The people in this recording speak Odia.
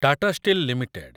Tata steel limited